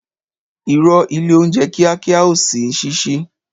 Ìrõ, ìlé ounjé kìákìá ò n sí sísí